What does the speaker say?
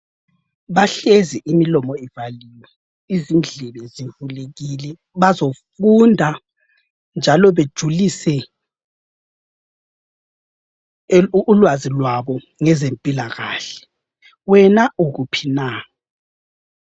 Bahlezi imilomo ivaliwe izindlebe zivulekile bazofunda njalo bejulise ulwazi lwabo ngezempilakahle. Wena ukuphi na?